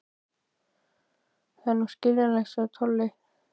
Það er nú skiljanlegt, sagði Tolli.